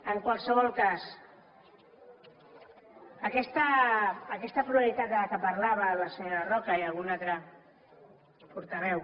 en qualsevol cas aquesta pluralitat de què parlaven la senyora roca i algun altre portaveu